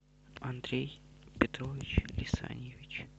андрей петрович лисаньевич